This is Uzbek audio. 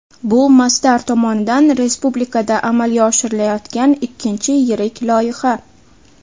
Bu Masdar tomonidan respublikada amalga oshirilayotgan ikkinchi yirik loyiha.